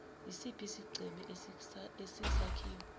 isiphi isigceme esiyisakhiwo